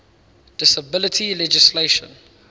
disability legislation